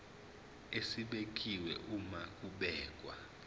esibekiwe uma kubhekwa